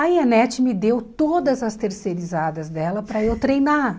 Aí a NET me deu todas as terceirizadas dela para eu treinar.